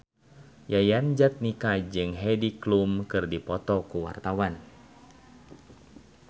Yayan Jatnika jeung Heidi Klum keur dipoto ku wartawan